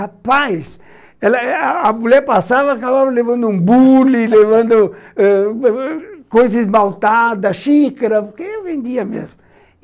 Rapaz, a mulher passava e acabava levando um bule, levando coisa esmaltada, xícara, porque eu vendia mesmo.